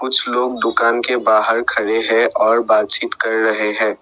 कुछ लोग दुकान के बाहर खड़े हैं और बातचीत कर रहे हैं।